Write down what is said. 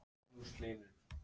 Olían er takmörkuð auðlind.